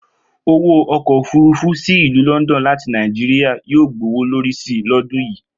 Owó ọkọ̀ òfúrufú sì ìlú London láti Nàìjíríà yóò gbowó lórí si lọ́dún yìí